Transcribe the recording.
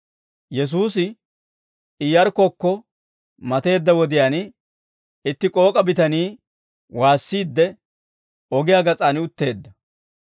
Yesuusi Iyarkkokko mateedda wodiyaan, itti k'ook'a bitanii woossiidde ogiyaa gas'aan utteedda.